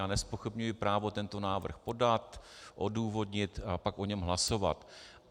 Já nezpochybňuji právo tento návrh podat, odůvodnit a pak o něm hlasovat.